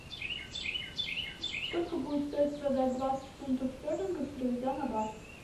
сколько будет стоить продать двадцать фунтов стерлингов переведя на бат